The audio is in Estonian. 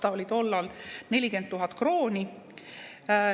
See oli tollal 40 000 krooni.